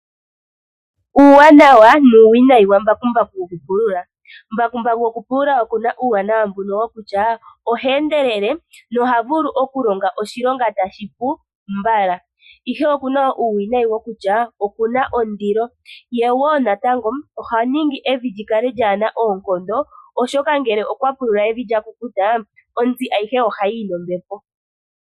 Uuwanawa nuuwinayi wa mbakumbaku wokupulula. Mbakumbaku goku pulula oku na uuwanawa mbuno wokutya oha endelele noha vulu oku longa oshilonga tashi pu mbala, ihe oku na uuwinayi wokutya oku na ondilo, ye wo natango oha ningi evi lyi kale lyaana oonkondo, oshoka ngele okwa pulula evi lya kukuta, ontsi ayihe ohayi yi nombepo.